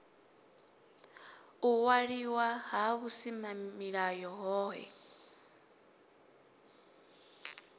u waliwa ha vhusimamilayo hohe